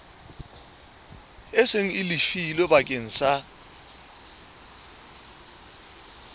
seng le lefilwe bakeng sa